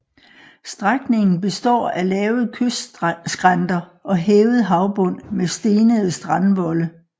Strækningen består af lave kystskrænter og hævet havbund med stenede strandvolde